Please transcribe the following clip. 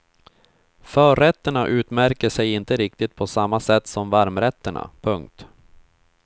Förrätterna utmärker sig inte riktigt på samma sätt som varmrätterna. punkt